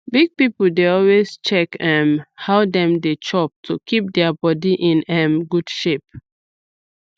big people dey always check um how dem dey chop to keep their body in um good shape